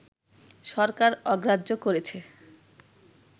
সরকার অগ্রাহ্য করেছে